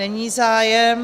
Není zájem.